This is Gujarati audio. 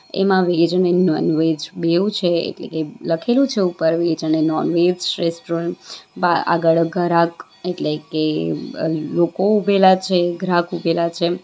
એમાં વેજ ને નોનવેજ બેઉ છે એટલે કે લખેલું છે ઉપર વેજ અને નોનવેજ રેસ્ટોરન્ટ બા આગળ ઘરાક એટલે કે અ લોકો ઉભેલા છે ગ્રાહક ઊભેલા છે.